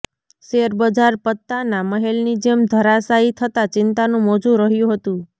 શેરબજાર પત્તાના મહેલની જેમ ધરાશાયી થતા ચિંતાનુ મોજુ રહ્યું હતું